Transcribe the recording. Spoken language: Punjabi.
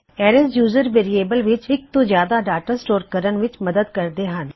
ਅਰੈਜ਼ ਯੂਜਰ ਨੂੰ ਵੇਅਰਿਏਬਲ ਵਿੱਚ ਇੱਕ ਤੋਂ ਜਿਆਦਾ ਡਾਟਾ ਨੂੰ ਸਟੋਰ ਕਰਨ ਦੀ ਆਗਿਆ ਦਿੰਦੇ ਹਨ